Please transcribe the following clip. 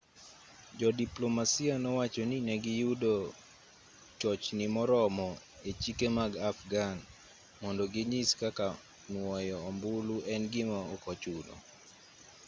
jodiplomasia nowacho ni negiyudo chochni moromo e chike mag afghan mondo ginyis kaka nuoyo ombulu en gima okochuno